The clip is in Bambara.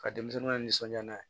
Ka denmisɛnninw ka nisɔndiya n'a ye